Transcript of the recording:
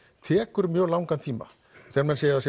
tekur mjög langan tíma þegar menn segja að